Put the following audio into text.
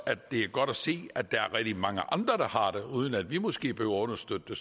det er godt at se at der er rigtig mange andre der har det uden at vi måske behøver at understøtte det